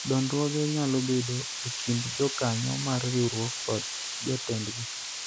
dondruoge nyalo bedo e kind jokanyo mar riwruok kod jotendgi